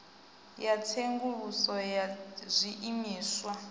ya tsenguluso ya zwiimiswa i